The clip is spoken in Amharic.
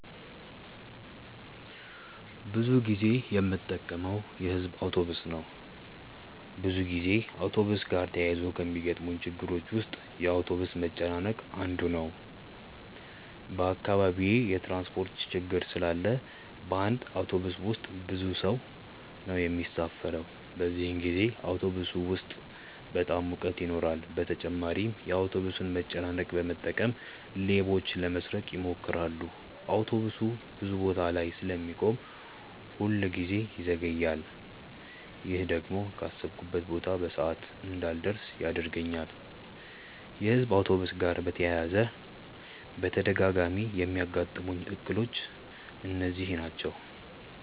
ብዙ ጊዜ የምጠቀመው የሕዝብ አውቶብስ ነው። ብዙ ጊዜ አውቶብስ ጋር ተያይዞ ከሚገጥሙኝ ችግሮች ውስጥ የአውቶብስ መጨናነቅ አንዱ ነው። በአካባቢዬ የትራንስፖርት ችግር ስላለ በአንድ አውቶብስ ውስጥ ብዙ ሰው ነው የሚሳፈረው። በዚህን ጊዜ አውቶብስ ውስጥ በጣም ሙቀት ይኖራል በተጨማሪም የአውቶብሱን መጨናነቅ በመጠቀም ሌቦች ለመስረቅ ይሞክራሉ። አውቶብሱ ብዙ ቦታ ላይ ስለሚቆም ሁል ጊዜ ይዘገያል። ይሄ ደግሞ ካሰብኩበት ቦታ በሰዓት እንዳልደርስ ያደርገኛል። የሕዝብ አውቶብስ ጋር በተያያዘ በተደጋጋሚ የሚያጋጥሙኝ እክሎች እነዚህ ናቸው።